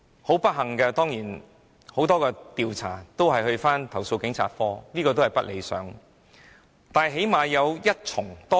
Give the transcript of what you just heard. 很不幸，很多調查個案會交回投訴警察課處理，這是不理想的。